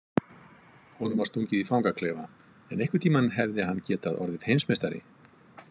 Honum var stungið í fangaklefa en einhvern tíma hefði hann getað orðið heimsmeistari.